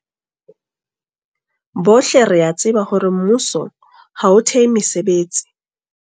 Bohle re a tseba hore mmuso ha o thehe mesebetsi.